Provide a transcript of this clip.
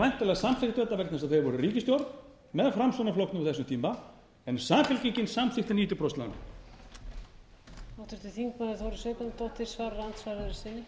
væntanlega samþykktu þetta vegna þess að þeir voru í ríkisstjórn með framsóknarflokknum á þessum tíma en samfylkingin samþykkti níutíu prósent lánin